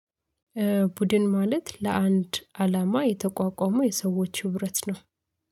ቡድን ማለት ለአንድ አላማ የተቋቋመ የሰዎች ህብረት ነው